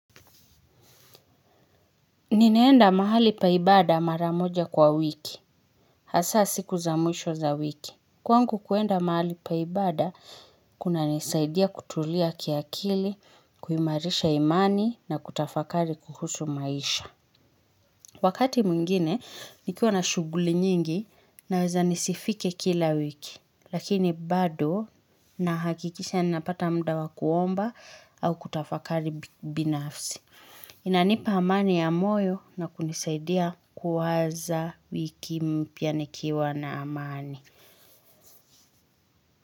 Ninaenda mahali pa ibada mara moja kwa wiki, hasa siku za mwisho za wiki. Kwangu kwenda mahali pa ibada, kunanisaidia kutulia kiakili, kuimarisha imani na kutafakari kuhusu maisha. Wakati mwingine, nikiwa na shughuli nyingi naweza nisifike kila wiki, lakini bado nahakikisha ninapata muda wa kuomba au kutafakari binafsi. Inanipa amani ya moyo na kunisaidia kuwaza wiki mpya nikiwa na amani.